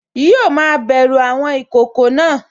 Yíò ma bẹ̀ru àwọn ìkokò náà